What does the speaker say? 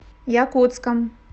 якутском